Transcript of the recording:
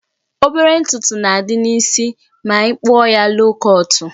Obere ntutu na-adị n'isi ma ị kpụọ loo kọtụ